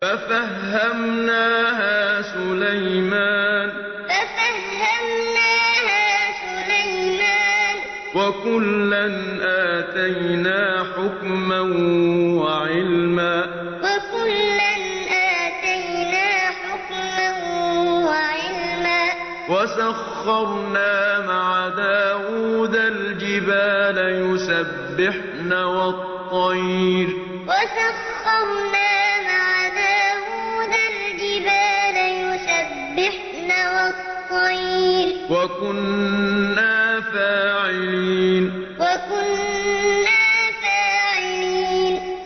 فَفَهَّمْنَاهَا سُلَيْمَانَ ۚ وَكُلًّا آتَيْنَا حُكْمًا وَعِلْمًا ۚ وَسَخَّرْنَا مَعَ دَاوُودَ الْجِبَالَ يُسَبِّحْنَ وَالطَّيْرَ ۚ وَكُنَّا فَاعِلِينَ فَفَهَّمْنَاهَا سُلَيْمَانَ ۚ وَكُلًّا آتَيْنَا حُكْمًا وَعِلْمًا ۚ وَسَخَّرْنَا مَعَ دَاوُودَ الْجِبَالَ يُسَبِّحْنَ وَالطَّيْرَ ۚ وَكُنَّا فَاعِلِينَ